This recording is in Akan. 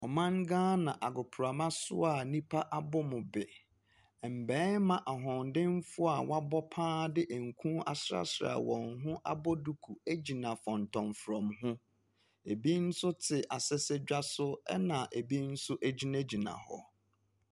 Ɔman Ghana agoprama so a nnipa abɔ mu be. Mmarima ahoɔden foɔ a wabɔ paa de nkuu asra sra wɔn ho abɔ duku ɛgyina fɔntɔmfrɔm ho. Ɛbi nso te asesedwa so ɛna ɛbi nso ɛgyina gyina hɔ.